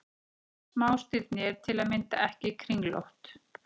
Þetta smástirni er til að mynda ekki kringlótt.